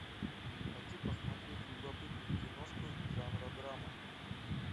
хочу посмотреть любопытную киношку жанра драма